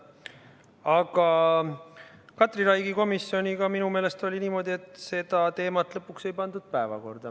Aga Katri Raigi komisjoniga oli minu meelest niimoodi, et seda teemat lõpuks ei pandudki päevakorda.